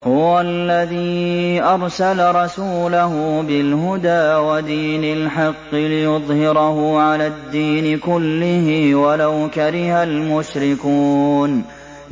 هُوَ الَّذِي أَرْسَلَ رَسُولَهُ بِالْهُدَىٰ وَدِينِ الْحَقِّ لِيُظْهِرَهُ عَلَى الدِّينِ كُلِّهِ وَلَوْ كَرِهَ الْمُشْرِكُونَ